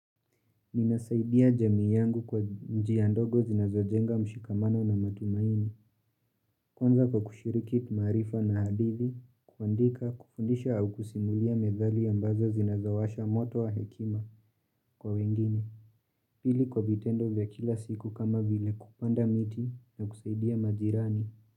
Ninasaidia jamii yangu kwa njiya ndogo zinazojenga mshikamano na matumaini, kwanza kwa kushiriki maarifa na hadithi, kuandika, kufundisha au kusimulia methali ambazo zinazawasha moto wa hekima kwa wengine, pili kwa vitendo vya kila siku kama vile kupanda miti na kusaidia majirani.